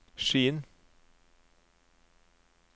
Skien